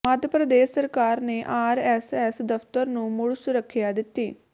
ਮੱਧ ਪ੍ਰਦੇਸ਼ ਸਰਕਾਰ ਨੇ ਆਰਐਸਐਸ ਦਫ਼ਤਰ ਨੂੰ ਮੁੜ ਸੁਰੱਖਿਆ ਦਿੱਤੀ